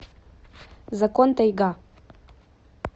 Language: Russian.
закон тайга